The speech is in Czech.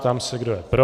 Ptám se, kdo je pro.